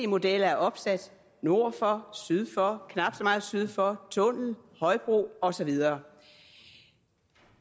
modeller er opsat nord for syd for knap så meget syd for tunnel højbro og så videre